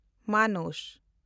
ᱢᱟᱱᱟᱥ